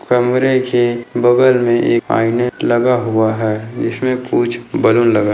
कमरे के बगल में एक आईने लगा हुआ है। जिसमे कुछ बैलून लगा--